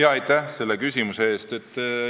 Aitäh selle küsimuse eest!